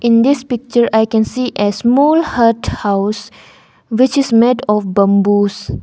in this picture i can see a small hut house which is made of bamboos.